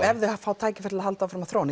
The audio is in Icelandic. ef þau fá tækifæri til að halda áfram að þróa